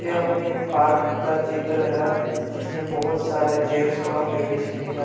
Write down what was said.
यह एक पार्क का चित्र है जिसमें बहुत सारे जेंस और लेडीज भी है।